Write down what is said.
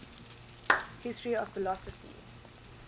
history of philosophy